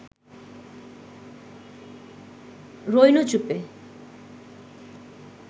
রইনু চুপে